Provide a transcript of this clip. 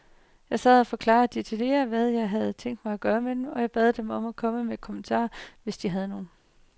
Jeg sad og forklarede detaljeret, hvad jeg havde tænkt mig med dem, og jeg bad dem komme med kommentarer, hvis de havde nogen.